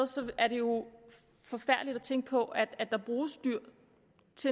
sted er det jo forfærdeligt at tænke på at der bruges dyr